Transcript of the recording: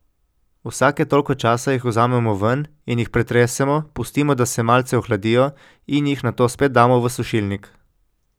Vsake toliko časa jih vzamemo ven in jih pretresemo, pustimo, da se malce ohladijo, in jih nato spet damo v sušilnik.